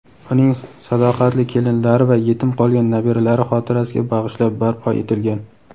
uning sadoqatli kelinlari va yetim qolgan nabiralari xotirasiga bag‘ishlab barpo etilgan.